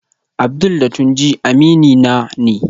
Abdul da Tunji aminina ne